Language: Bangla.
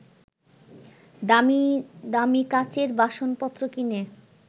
দামি দামি কাচের বাসনপত্র কিনে